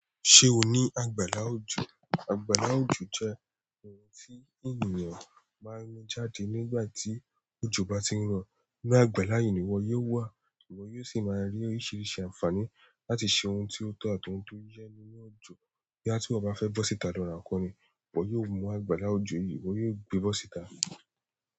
Ṣé o ní àgbàlá òjò? Àgbàlá òjò jẹ́ ohun tí ènìyàn máa ń mu jáde nígbà tí òjò bá ti ń rọ̀. Inú àgbàlá yìí ni ìwọ yóò wà, ìwọ yóò sì máa rí oríṣiríṣi àǹfààní láti ṣe ohun tí ó tọ́ àti ohun tó yẹ nínú òjò. Boya tiwo bá fẹ́ bọ́ síta lọ́ ra ǹkan ni, ìwọ yóò mú àgbàlá òjò yìí, ìwọ yóò gbé bọ́ síta.